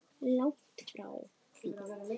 Langt frá því.